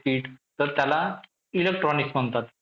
kit तर त्याला electronics म्हणतात.